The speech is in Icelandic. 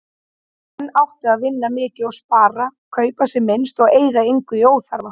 Menn áttu að vinna mikið og spara, kaupa sem minnst og eyða engu í óþarfa.